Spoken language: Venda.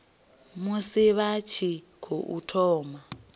musi vha tshi tou thoma